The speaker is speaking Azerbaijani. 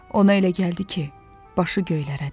Ona elə gəldi ki, başı göylərə dəyib.